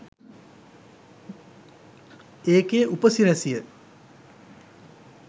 ඒකේ ‍උ‍ප‍සි‍රැ‍සි‍ය